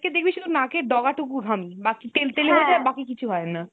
দেখবি শুধু নাক এর ডগা টুকু ঘামে। বাকি বাকি কিছু হয় না।